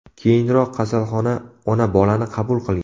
Keyinroq kasalxona ona-bolani qabul qilgan.